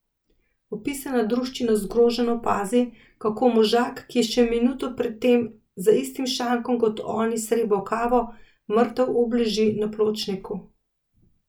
Opisana druščina zgroženo opazi, kako možak, ki je še minuto pred tem za istim šankom kot oni srebal kavo, mrtev obleži na pločniku.